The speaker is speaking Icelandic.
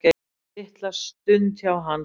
Litla stund hjá Hansa